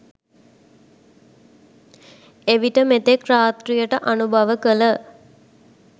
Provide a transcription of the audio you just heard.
එවිට මෙතෙක් රාත්‍රියට අනුභව කළ